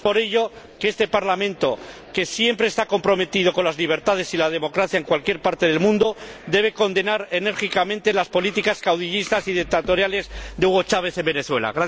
Es por ello que este Parlamento, que siempre está comprometido con las libertades y la democracia en cualquier parte del mundo, debe condenar enérgicamente las políticas caudillistas y dictatoriales de Hugo Chávez en Venezuela.